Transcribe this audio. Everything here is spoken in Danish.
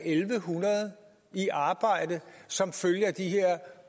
en hundrede i arbejde som følge af de her